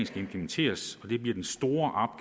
skal implementeres og det bliver den store